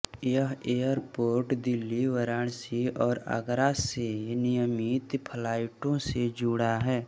यह एयरपोर्ट दिल्ली वाराणसी और आगरा से नियमित फ्लाइटों से जुड़ा है